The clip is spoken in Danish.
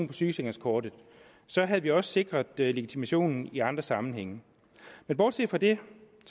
på sygesikringskortet så havde vi også sikret legitimationen i andre sammenhænge men bortset fra det